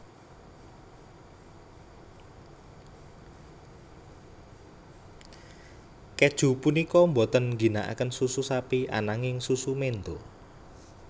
Kèju punika boten ngginakaken susu sapi ananging susu menda